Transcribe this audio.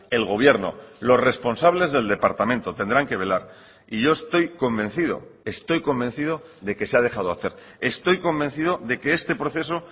el gobierno los responsables del departamento tendrán que velar y yo estoy convencido estoy convencido de que se ha dejado hacer estoy convencido de que este proceso